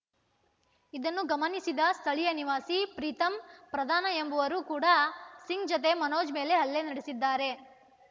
ಇದನ್ನು ಗಮನಿಸಿದ ಸ್ಥಳೀಯ ನಿವಾಸಿ ಪ್ರೀತಂ ಪ್ರಧಾನ್‌ ಎಂಬುವರು ಕೂಡ ಸಿಂಗ್‌ ಜತೆ ಮನೋಜ್‌ ಮೇಲೆ ಹಲ್ಲೆ ನಡೆಸಿದ್ದಾರೆ